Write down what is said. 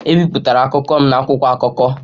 Ebipụtara akụkọ m na akwụkwọ akụkọ.